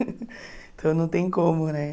Então não tem como, né?